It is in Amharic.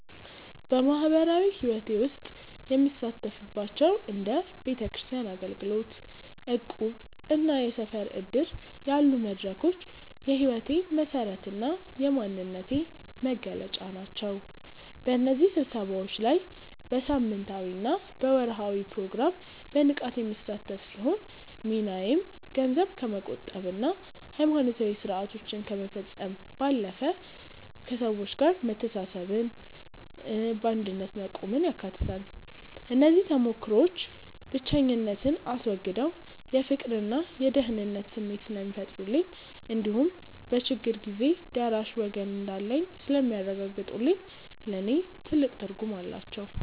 በማኅበራዊ ሕይወቴ ውስጥ የምሳተፍባቸው እንደ ቤተክርስቲያን አገልግሎት፣ እቁብና የሰፈር ዕድር ያሉ መድረኮች የሕይወቴ መሠረትና የማንነቴ መገለጫ ናቸው። በእነዚህ ስብሰባዎች ላይ በሳምንታዊና በወርኃዊ ፕሮግራም በንቃት የምሳተፍ ሲሆን፣ ሚናዬም ገንዘብ ከመቆጠብና ሃይማኖታዊ ሥርዓቶችን ከመፈጸም ባለፈ፣ ከሰዎች ጋር መተሳሰብንና በአንድነት መቆምን ያካትታል። እነዚህ ተሞክሮዎች ብቸኝነትን አስወግደው የፍቅርና የደህንነት ስሜት ስለሚፈጥሩልኝ እንዲሁም በችግር ጊዜ ደራሽ ወገን እንዳለኝ ስለሚያረጋግጡልኝ ለእኔ ትልቅ ትርጉም አላቸው።